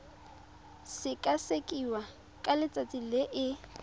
sekasekiwa ka letsatsi le e